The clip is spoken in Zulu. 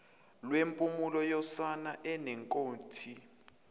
lwempumulo yosana enenkothi